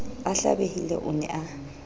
a hlabehile o ne a